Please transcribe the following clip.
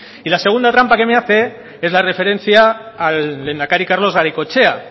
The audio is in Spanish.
y la segunda trampa que me hace es la referencia al lehendakari carlos garaikoetxea